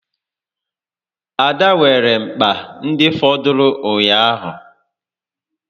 Ada weere mkpa ndị fọdụrụ ụnyaahụ